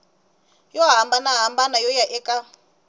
yo hambanahambana yo huma eka